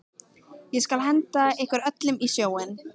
Ég skal henda ykkur öllum í sjóinn!